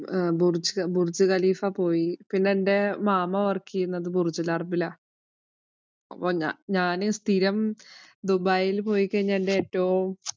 Burj Khalifa പോയി. പിന്നെ എന്‍റെ മാമ ചെയ്യുന്നത് ബുര്‍ജ് ദര്‍ബിലാ. ഞാന് സ്ഥിരം ദുബായില് പോയിക്കഴിഞ്ഞാല്‍ എന്‍റെ ഏറ്റവും